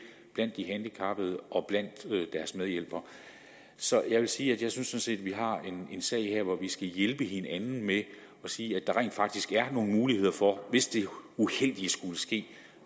blandt de handicappede og blandt deres medhjælpere så jeg vil sige at jeg sådan set synes at vi har en sag her hvor vi skal hjælpe hinanden med at sige at der rent faktisk er nogle muligheder for hvis det uheldige skulle ske